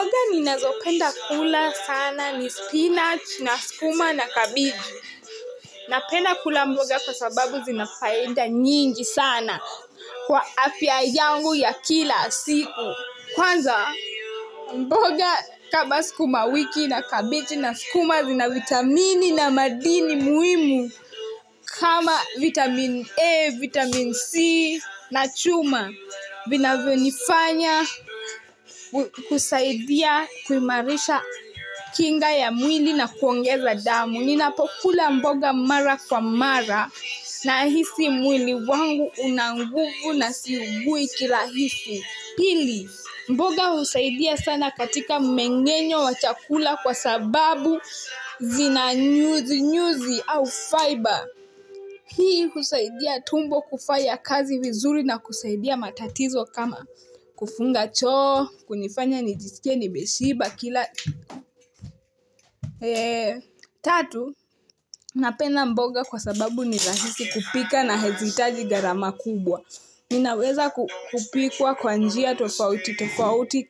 Mboga ninazopenda kula sana ni spinach na sukuma na kabichi Napenda kula mboga kwa sababu zina faida nyingi sana kwa afya yangu ya kila siku kwanza mboga kama sukumawiki na kabichi na sukuma zina vitamini na madini muhimu kama vitamin A vitamin C na chuma vinavyonifanya kusaidia kuimarisha kinga ya mwili na kuongeza damu Ninapokula mboga mara kwa mara Nahisi mwili wangu una nguvu na siugui kirahisi Pili, mboga husaidia sana katika mmengenyo wa chakula kwa sababu zina nyuzinyuzi au faiba Hii husaidia tumbo kufanya kazi vizuri na kusaidia matatizo kama kufunga choo kunifanya nijisikie nimeshiba kila tatu Napenda mboga kwa sababu ni rahisi kupika na hazihitaji gharama kubwa inaweza kupikwa kwa njia tofauti tofauti